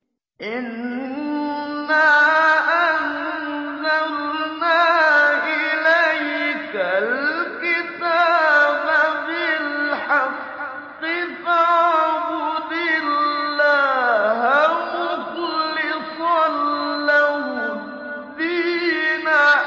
إِنَّا أَنزَلْنَا إِلَيْكَ الْكِتَابَ بِالْحَقِّ فَاعْبُدِ اللَّهَ مُخْلِصًا لَّهُ الدِّينَ